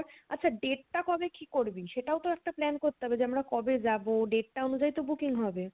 আচ্ছা date টা কবে কি করবি সেটাওতো একটা plan করতে হবে যে আমরা কবে যাবো, date তা অনুযায়ী তো booking হবে